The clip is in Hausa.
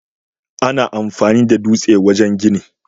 Ana amfani da dutse wajen gini.